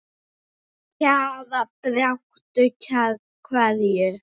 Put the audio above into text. Með Kjara baráttu kveðju.